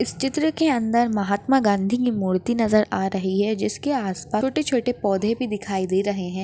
इस चित्र के अंदर महात्मा गांधी की मूर्ति नजर आ रही है जिसके आसपास छोटे-छोटे पौधे भी दिखाई दे रहे है।